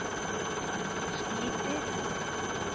sliter